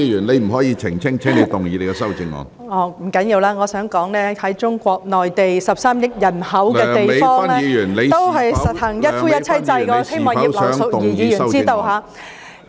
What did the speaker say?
不要緊，我想說在中國內地這個有13億人口的地方，也是實行一夫一妻制，我希望葉劉淑儀議員知道。